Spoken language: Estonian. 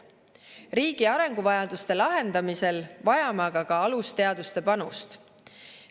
Riigi arenguvajaduste lahendamisel vajame aga ka alusteaduste panust.